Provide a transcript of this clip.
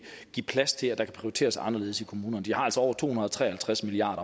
give plads til at der kan prioriteres anderledes i kommunerne de har altså over to hundrede og tre og halvtreds milliard